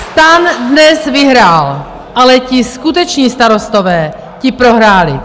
STAN dnes vyhrál, ale ti skuteční starostové, ti prohráli.